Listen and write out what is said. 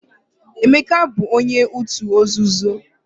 Emeka bu onye otu nzuzo